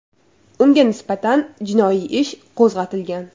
Unga nisbatan jinoiy ish qo‘zg‘atilgan .